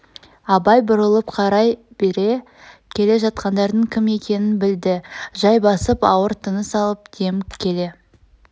абай бұрылып қарай бере келе жатқандардың кім екенін білді жай басып ауыр тыныс алып демгіп келе